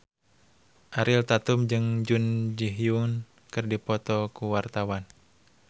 Ariel Tatum jeung Jun Ji Hyun keur dipoto ku wartawan